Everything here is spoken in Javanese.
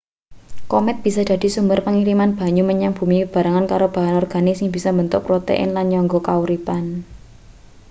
komet bisa dadi sumber pangiriman banyu menyang bumi bebarengan karo bahan organik sing bisa mbentuk protein lan nyangga kauripan